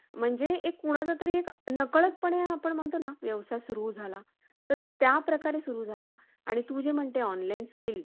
आम्ही, सर्व मिळून, एकोप्याने व एक दिलाने हिची सेवा करू. ती करण्यात आमच्या कोणाचा धर्म आडवा येणार नाही. कारण,